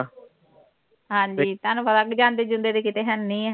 ਹਾਂ ਜੀ ਤੁਹਾਨੂੰ ਪਤਾ ਕਿ ਜਾਂਦੇ ਜੂੰਦੇ ਤੇ ਕਿੱਥੇ ਹੈ ਨਹੀਂ